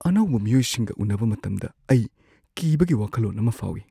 ꯑꯅꯧꯕ ꯃꯤꯑꯣꯏꯁꯤꯡꯒ ꯎꯅꯕ ꯃꯇꯝꯗ ꯑꯩ ꯀꯤꯕꯒꯤ ꯋꯥꯈꯜꯂꯣꯟ ꯑꯃ ꯐꯥꯎꯏ ꯫